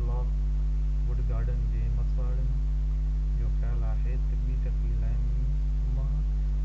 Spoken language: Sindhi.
لاڪ ووڊ گارڊن جي مسواڙين جو خيال آهي تہ بي دخلي کي منهن